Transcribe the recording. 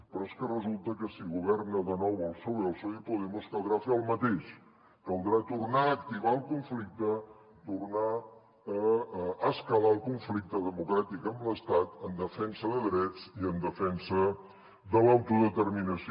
però és que resulta que si governa de nou el psoe el psoe i podemos caldrà fer el mateix caldrà tornar a activar el conflicte tornar a escalar el conflicte democràtic amb l’estat en defensa de drets i en defensa de l’autodeterminació